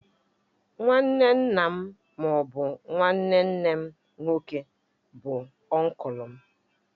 Nwanne nna m ma ọ bụ nwanne nne m nke nwoke bụ ọnklu m